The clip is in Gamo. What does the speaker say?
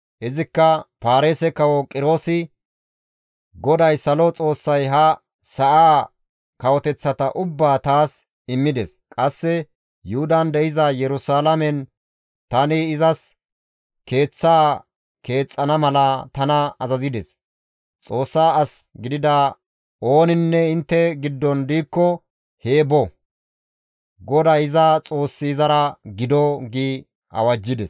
Izikka, «Paarise kawo Qiroosi, ‹GODAY salo Xoossay ha sa7aa kawoteththata ubbaa taas immides; qasse Yuhudan de7iza Yerusalaamen tani izas Keeththa keexxana mala tana azazides; Xoossa as gidida ooninne intte giddon diikko hee bo; GODAY iza Xoossi izara gido!› » gi awajjides.